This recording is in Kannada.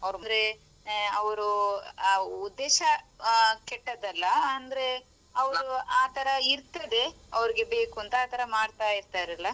ಆದ್ರೆ ಅವ್ರು ಆ ಉದ್ದೇಶ ಆ ಕೆಟ್ಟದಲ್ಲ ಅಂದ್ರೆ ಅವ್ರು ಆತರ ಇರ್ತದೆ ಅವ್ರಿಗೆ ಬೇಕುಂತ ಆತರ ಮಾಡ್ತಾ ಇರ್ತಾರಲ್ಲಾ.